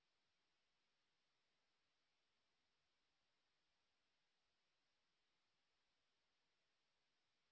assignment বা অনুশীলনী রাইটের এ নতুন ডকুমেন্ট খুলুন